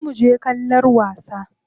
Za muje kallon wasa.